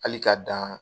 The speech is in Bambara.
Hali ka dan